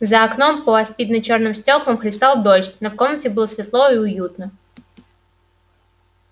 за окном по аспидно-чёрным стёклам хлестал дождь но в комнате было светло и уютно